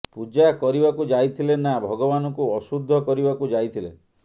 ପୂଜା କରିବାକୁ ଯାଇଥିଲେ ନା ଭଗବାନଙ୍କୁ ଅଶୁଦ୍ଧ କରିବାକୁ ଯାଇଥିଲେ